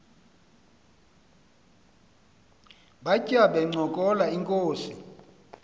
batya bencokola inkos